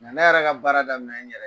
Nka ne yɛrɛ ka baara daminɛ n yɛrɛ ye